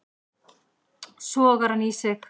Sogar hann í sig.